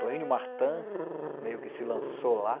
Toênio Martã, meio que se lançou lá.